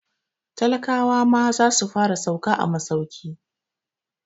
Talakawa ma za su fara sauka a masauki.